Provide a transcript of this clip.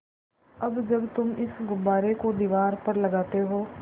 अब जब तुम इस गुब्बारे को दीवार पर लगाते हो